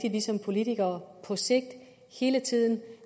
at vi som politikere på sigt hele tiden